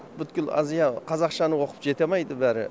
бүткіл азия қазақшаны оқып жетамайды бәрі